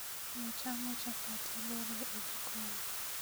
nochamo chapat aboro e jikon